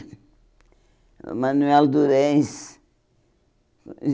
O Manoel Durães.